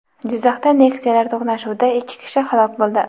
Jizzaxda Nexia’lar to‘qnashuvida ikki kishi halok bo‘ldi.